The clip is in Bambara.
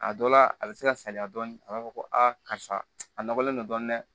A dɔ la a bɛ se ka saya dɔɔnin a b'a fɔ ko a karisa a nɔgɔlen don dɔɔnin